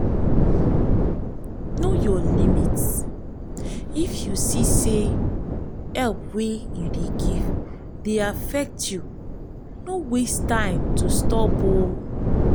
know your limit if you see say help wey you dey give dey affect you no waste time to stop